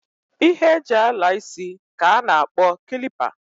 Ihe e ji ala isi ka a na-akpo kilipa.